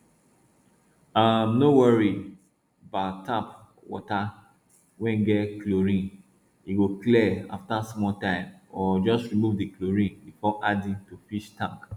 um no worry bout tap water wey get chlorine e go clear after small time or just remove di chlorine before adding to fish tank